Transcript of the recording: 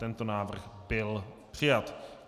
Tento návrh byl přijat.